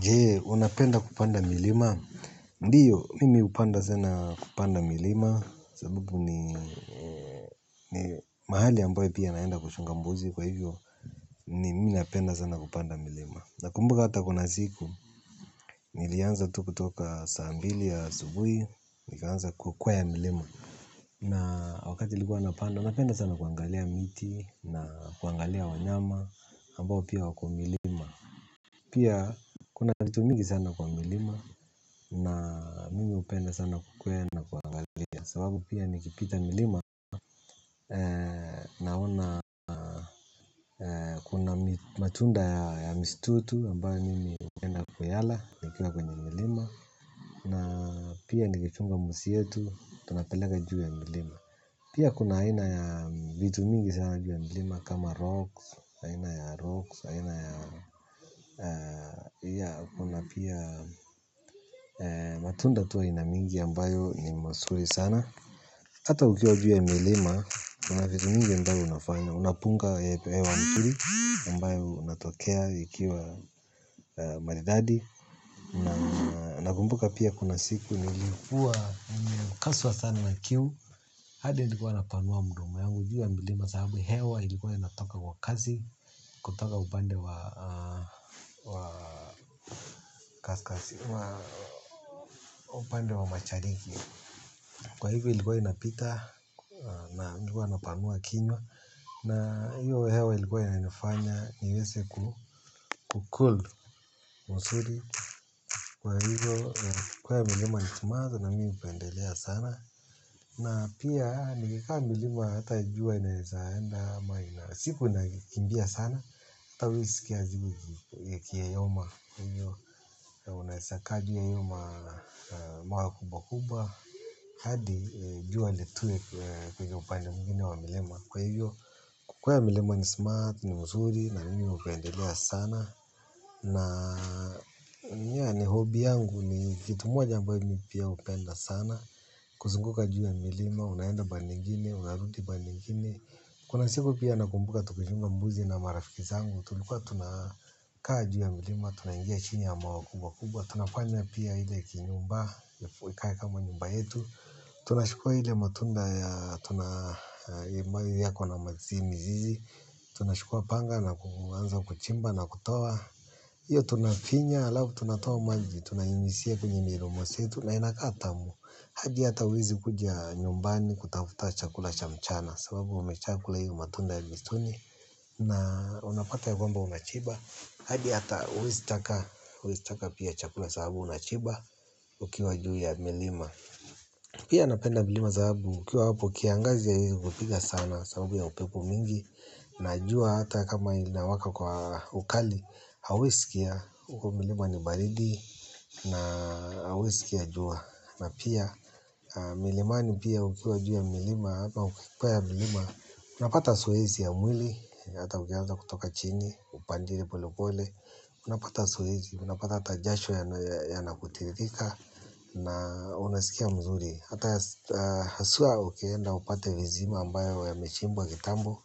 Jee, unapenda kupanda milima? Ndio, mimi hupenda sana kupanda milima, sabubu ni mahali ambayo pia naenda kuchunga mbuzi kwa hivyo, mimi napenda sana kupanda milima. Na kumbuka hata kuna siku, nilianza tu kutoka saa mbili ya asubuhi, nikaanza kukwea milima. Na wakati nilikuwa napanda, napenda sana kuangalia miti na kuangalia wanyama ambao pia wako milima. Pia kuna vitu mingi sana kwa milima na mimi hupenda sana kukwea na kuangalia sababu pia nikipita milima naona matunda ya misitu, ambayo mimi hupenda kuyala nikiwa kwenye milima. Na pia nikichunga mbuzi yetu tunapandaga juu ya milima pia kuna aina ya vitu mingi sana juu ya milima kama rocks aina ya rocks aina ya matunda tu aina mingi ambayo ni nzuri sana hata ukiwa juu ya mlima kuna vitu mingi ambayo unafanya. Unapunga hewa mzuri ambayo inatokea ikiwa maridadi nakumbuka pia kuna siku nilikuwa nimekazwa sana na kiu, hadi nilikuwa napanua mdomo wangu juu ya mlima sababu hewa ilikuwa inatoka kwa kasi. Kutoka upande wa mashariki. Kwa hivyo ilikuwa inapita na juu napanua kinywa na hiyo hewa ilikuwa inafanya niweze ku cool mzuri. Kwa hivyo kukwea milima ni timazi na mimi hupendelea sana na pia nikikwea milima hata jua inaweza enda ama siku inakimbia sana hata hauwezi sikia siku ikiyoyoma kwa hivyo unaweza kaa juu ya hiyo ma mawe kubwa kubwa hadi jua litue kwenye upande mwingine wa milima kwa hivyo kukwea milima ni smart, ni mzuri na mimi hupendelea sana na pia ni hobby yangu ni kitu moja ambayo mimi pia hupenda sana kuzunguka juu ya milima, unaenda pande ingine, unarudi pande ingine kuna siku pia nakumbuka tukichunga mbuzi na marafiki zangu tulikuwa tunakaa juu ya milima, tunaingia chini ya mawe kubwa kubwa tunafanya pia ile kinyumba ikae kama nyumba yetu tunachukua ile matunda yako na mazini hii tunachukua panga na kuanza kuchimba na kutoa hiyo tunafinya halafu tunatoa maji tunainyunyizia kwenye midomo zetu na inakaa tamu. Hadi hata hauwezi kuja nyumbani kutafuta chakula cha mchana sababu umeshakula hiyo matunda ya msituni. Na unapata ya kwamba unashiba hadi hata hauwezi taka hauwezi taka pia chakula sababu unashiba ukiwa juu ya milima pia napenda milima sababu ukiwa hapo kiangazi haiwezi kupiga sana sababu ya upepo mingi. Najua hata kama inawaka kwa ukali hauwezi sikia huko milima ni baridi na hauwezi sikia jua na pia milimani pia ukiwa juu ya milima ama ukikwea milima unapata zoezi ya mwili hata ukianza kutoka chini upande polepole unapata zoezi, unapata hata jasho yanakutiririka na unasikia mzuri hata haswa ukienda upate visima ambayo yamechimbwa kitambo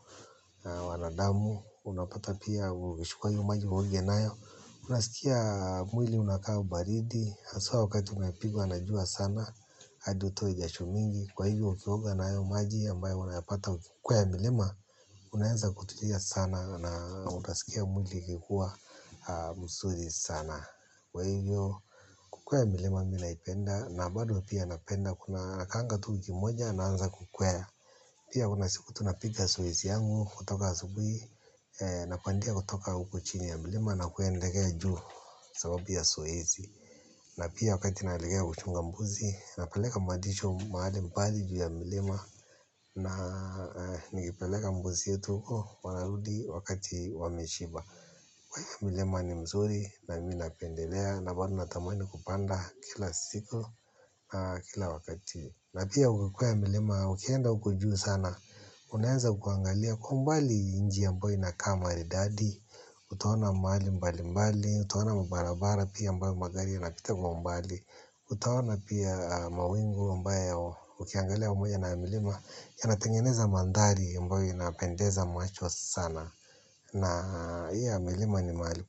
na wanadamu unapata pia ukichukua hiyo maji uoge nayo unasikia mwili unakaa ubaridi haswa wakati umepigwa na jua sana hadi utoe jasho mingi kwa hivyo ukioga na hayo maji ambayo unayapata ukikwea milima unaweza kutulia sana na utasikia mwili ikikuwa mzuri sana kwa hivyo kukwea milima mimi naipenda na bado pia napenda nakaanga tu wiki moja naanza kukwea pia kuna siku tunapiga zoezi yangu kutoka asubuhi napandia kutoka huko chini ya milima na kuendelea juu sababu ya zoezi. Na pia wakati naelekea kuchunga mbuzi napeleka malisho mahali mbali juu ya milima na nikipeleka mbuzi yetu huko wanarudi wakati wameshiba. Mlima ni nzuri na mimi napendelea na bado natamani kupanda kila siku kila wakati na pia ukikwea milima ukienda huko juu sana unaweza kuangalia kwa umbali nchi ambayo inakaa maridadi. Utaona mahali mbalimbali, utaona mabarabara pia ambayo magari yanapita kwa umbali utaona pia mawingu ambayo ukiangalia pamoja na milima yanatengeneza mandhari ambayo inapendeza macho sana na hiyo milima ni mahali.